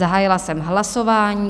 Zahájila jsem hlasování.